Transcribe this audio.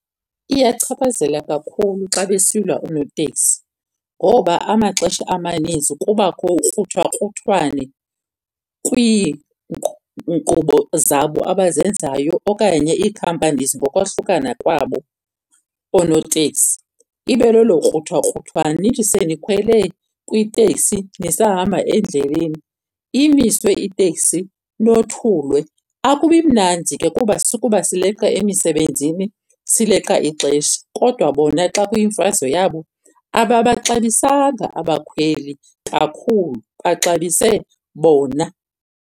Iyachaphazela kakhulu xa besilwa oonoteksi ngoba amaxesha amaninzi kubakho ukruthwakruthwano zabo abazenzayo okanye ii-companies ngokwahlukana kwabo oonoteksi, ibe lelo kruthwakruthwano. Nithi senikhwele kwiteksi nisahamba endleleni, imiswe iteksi nothulwe. Akubi mnandi ke kuba sukuba sileqa emisebenzini sileqa ixesha, kodwa bona xa kuyimfazwe yabo ababaxabisanga abakhweli kakhulu, baxabise bona.